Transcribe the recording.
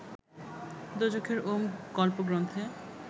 দোজখের ওম গল্পগ্রন্থে